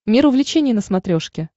мир увлечений на смотрешке